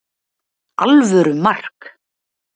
Alvöru mark!